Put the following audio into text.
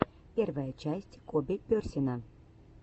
первая часть коби персина